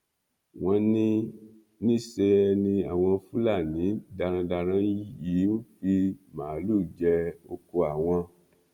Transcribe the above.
wọn ní níṣẹ ni àwọn fúlàní darandaran yìí ń fi màálùú jẹ ọkọ àwọn